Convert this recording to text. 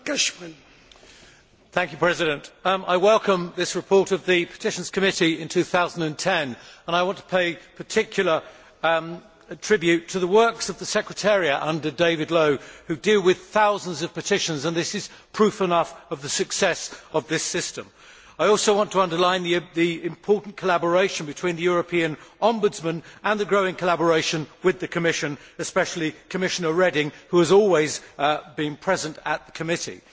Mr President, I welcome this report on the activities of the Petitions Committee in 2010 and I want to pay particular tribute to the work of the secretariat, under David Lowe, which deals with thousands of petitions. That is proof enough of the success of this system. I also want to underline the Committee's important collaboration with the European Ombudsman and growing collaboration with the Commission, and especially Commissioner Reding, who has always been present at the committee.